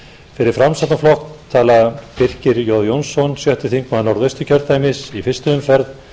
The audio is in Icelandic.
fyrir framsóknarflokk tala birkir j jónsson sjötti þingmaður norðausturkjördæmis í fyrstu umferð